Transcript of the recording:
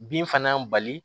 Bin fana bali